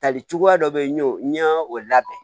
Tali cogoya dɔ be yen n y'o n y'o labɛn